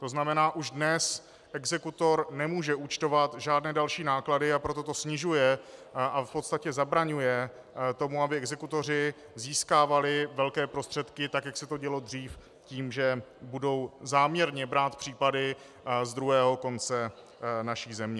To znamená, už dnes exekutor nemůže účtovat žádné další náklady, a proto to snižuje a v podstatě zabraňuje tomu, aby exekutoři získávali velké prostředky tak, jak se to dělo dřív, tím, že budou záměrně brát případy z druhého konce naší země.